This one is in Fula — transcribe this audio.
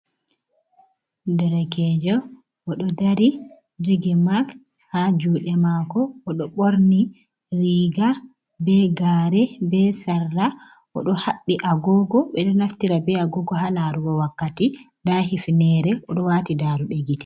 Derkejo o ɗo dari jogi mak ha juɗe mako oɗo ɓorni riga be gare be sarla oɗo haɓɓi agogo, ɓeɗo naftira be agogo ha larugo wakkati nda hifnere oɗo wati daruɗe gitte.